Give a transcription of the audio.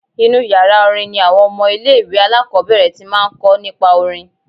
Inú yàrá orin ni àwọn ọmọ ilé-ìwé alákọ́bẹ̀rẹ̀ ti máa ń kọ́ nípa orin